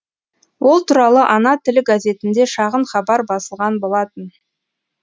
ол туралы ана тілі газетінде шағын хабар басылған болатын